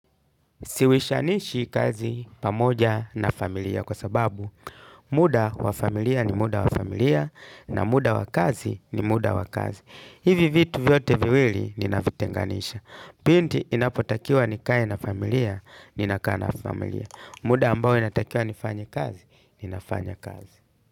Siwishanishi kazi pamoja na familia kwa sababu muda wa familia ni muda wa familia na muda wa kazi ni muda wa kazi. Hivi vitu vyote viwili ninavitenganisha. Pindi inapotakiwa nikae na familia, ninakaa na familia. Muda ambao inatakiwa nifanye kazi, ninafanya kazi.